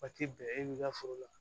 Waati bɛɛ e b'i ka foro la